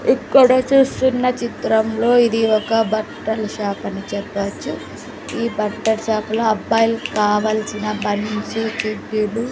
ఇక్కడ చూస్తున్న చిత్రంలో ఇది ఒక బట్టల షాపు అని చెప్పవచ్చు ఈ బట్టల షాపు లో అబ్బాయిలకి కావల్సిన బనియన్స్ చెడ్డీలు --